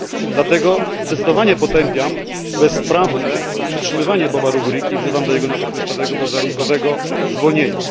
Dlatego zdecydowanie potępiam bezprawne przetrzymywanie Boba Ruguriki i wzywam do jego natychmiastowego bezwarunkowego zwolnienia.